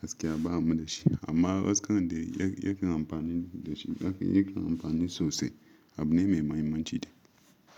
gaskiya ba mu da shi. Amma wasu karon dai yakan amfani da shi, yakan amfani sosai abu ne mai mahimmanci dai.